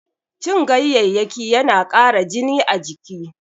Cin ganyayyaki yana ƙara jini a jiki.